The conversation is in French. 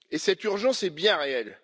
Et cette urgence est bien réelle.